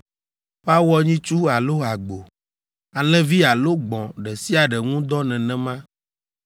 Woawɔ nyitsu alo agbo, alẽvi alo gbɔ̃ ɖe sia ɖe ŋu dɔ nenema.